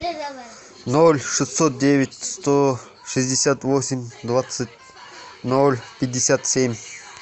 ноль шестьсот девять сто шестьдесят восемь двадцать ноль пятьдесят семь